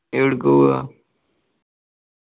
എവിടുക്ക് പോവാ?